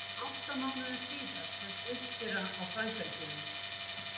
átta mánuðum síðar hefst uppskera á fræbelgjunum